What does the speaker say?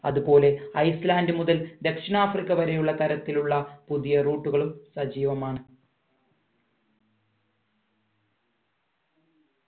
അത്പോലെ ice land മുതൽ ദക്ഷിണാഫ്രിക്ക വരെയുള്ള തരത്തിലുള്ള പുതിയ root കളും സജീവമാണ്